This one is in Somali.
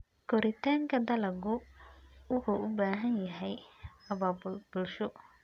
Koritaanka dalaggu wuxuu u baahan yahay abaabul bulsho.